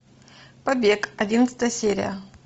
побег одиннадцатая серия